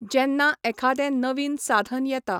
जेन्ना एखादें नवीन साधन येता.